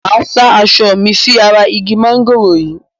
Máa sá aṣọ mi sí ara igi mángòrò yìí.